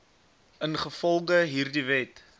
ingevolge hierdie wet